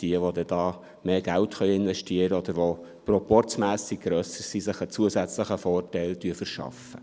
Jene, welche mehr Geld investieren können oder prozporzmässig grösser sind, können sich einen zusätzlichen Vorteil verschaffen.